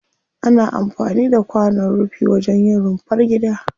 Ana amfani da kwanon rufi wajen yin rumfar gida.